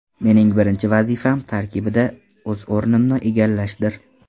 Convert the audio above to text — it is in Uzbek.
Mening birinchi vazifam – tarkibda o‘z o‘rnimni egallashdir.